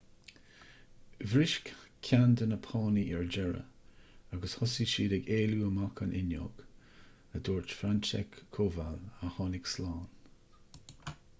bhris ceann de na pánaí ar deireadh agus thosaigh siad ag éalú amach an fhuinneog a dúirt franciszek kowal a tháinig slán